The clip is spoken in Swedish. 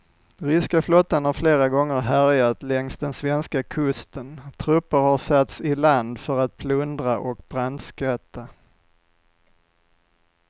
Ryska flottan har flera gånger härjat längs den svenska kusten, trupper har satts i land för att plundra och brandskatta.